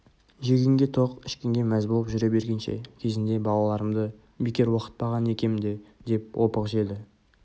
жегенге тоқ ішкенге мәз болып жүре бергенше кезінде балаларымды бекер оқытпаған екем де деп опық жеді